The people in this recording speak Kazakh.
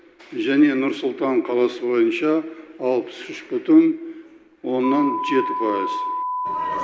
және нұр сұлтан қаласы бойынша алпыс үш бүтін оннан жеті пайыз